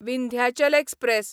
Vindhyachal express